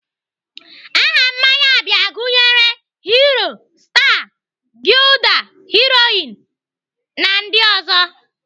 Aha mmanya bịa gụnyere Hero, star, gulder, Heroin na ndị ọzọ.